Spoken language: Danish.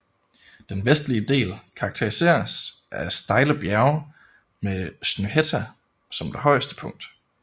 Den vestlige del karakteriseres af stejle bjerge med Snøhetta som det højeste punkt